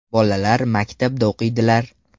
Bolalar maktabda o‘qiydilar.